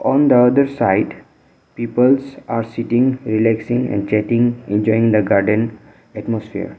on the other side peoples are sitting relaxing exiting enjoying the garden atmosphere.